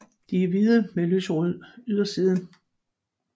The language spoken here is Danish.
De er hvide med lyserød yderside